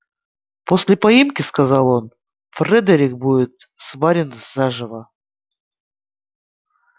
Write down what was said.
после поимки сказал он фредерик будет сварен заживо